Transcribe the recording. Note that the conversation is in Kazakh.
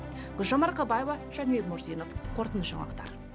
гүлжан марқабаева жәнібек мурзинов қорытынды жаңалықтар